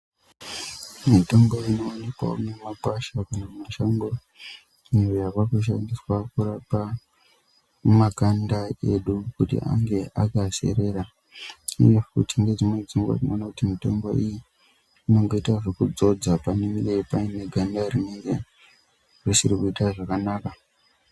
Mitombo inoonekwawo mumakwasha kana mumashango iyo yaakushandiswa kurapa makanda edu kuti ange akaserera uye futi ngedzimweni dzenguwa tinoona kuti mitombo iyi inoitwa yekudzodza pane ganda rinenge risikuita zvakanaka.